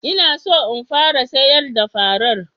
N'na so n fara sayar da farar.